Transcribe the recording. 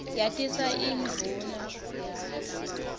yatisa indvuna yakho